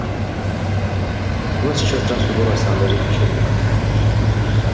у нас сейчас трансфигурация надо взять учебник